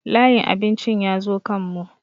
Layin abincin ya zo kan mu